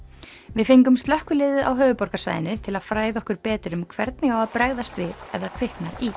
við fengum slökkviliðið á höfuðborgarsvæðinu til að fræða okkur betur um hvernig á að bregðast við ef það kviknar í